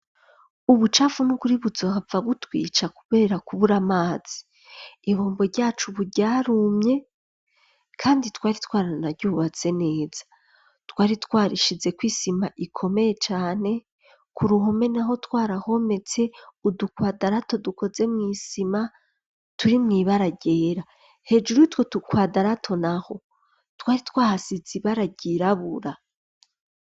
Ubucafu nukuri buzohava butwica kubera kubura amazi, ibombo ryacu ubu ryarumye kandi twari twaranaryubatse neza , twari twarishizeko isima ikomeye cane, ku ruhome naho twarahometse udukwadarato dukoze mw'isima, turi mw' ibara ryera, hejuru y'uwo dukwadarato naho twari twahasize ibara ryirabura.